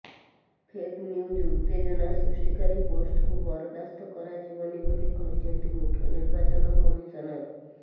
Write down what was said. fake news ଉତ୍ତେଜନା ସୃଷ୍ଟିକାରୀ ପୋଷ୍ଟକୁ ବରଦାସ୍ତ କରାଯିବନି ବୋଲି କହିଛନ୍ତି ମୁଖ୍ୟ ନିର୍ବାଚନ କମିଶନର